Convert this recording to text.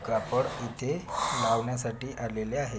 कापड इथे लावण्यासाठी आलेले आहे.